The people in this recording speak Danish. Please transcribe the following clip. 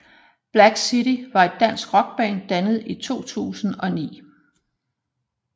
Black City var et dansk rockband dannet i 2009